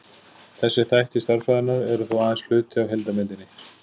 þessir þættir stærðfræðinnar eru þó aðeins hluti af heildarmyndinni